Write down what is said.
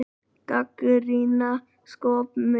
Gagnrýna skopmynd